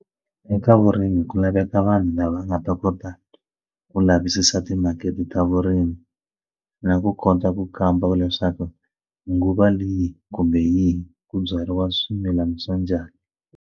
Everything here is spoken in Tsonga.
Eka vurimi ku laveka vanhu lava nga ta kota ku lavisisa timakete ta vurimi na ku kota ku kamba leswaku nguva leyi kumbe yihi ku byariwa swimilana swa njhani.